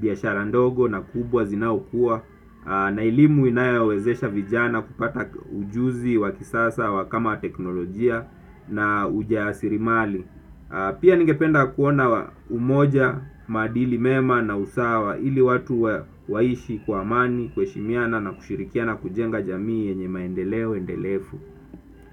biashara ndogo na kubwa zinaokuwa. Na elimu inayowezesha vijana kupata ujuzi wakisasa wa kama teknolojia na ujaasirimali. Pia ningependa kuona umoja, maadili mema na usawa ili watu waishi kwa amani, kuheshimiana na kushirikiana na kujenga jamii yenye maendeleo, endelefu.